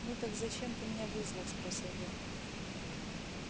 ну так зачем ты меня вызвал спросил я